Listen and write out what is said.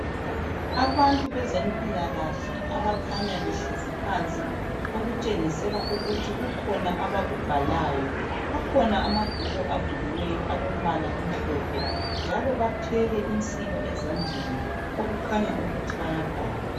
Abantu bezempilakahle abakhanya behlezi phansi okutshengisela ukuthi kukhona abakubhalayo. Akhona amabhuku avuliweyo alombala omhlophe njalo bathwele insiba ezandleni okukhanya ukuthi bayabhala.